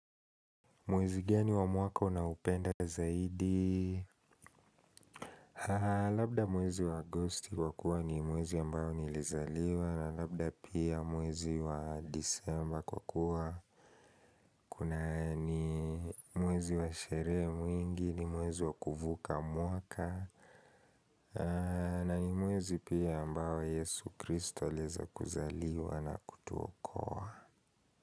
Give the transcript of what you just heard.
Mwezi geni wa mwaka unaupenda zaidi? Labda mwezi wa agosti kwa kuwa ni mwezi ambao nilizaliwa na labda pia mwezi wa disemba kwa kuwa. Kuna ni mwezi wa sherehe mwingi ni mwezi wa kuvuka mwaka na ni mwezi pia ambao yesu kristo alieza kuzaliwa na kutuokoa.